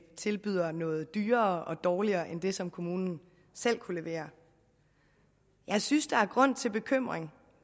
tilbyder noget dyrere og dårligere end det som kommunen selv kan levere jeg synes der er grund til bekymring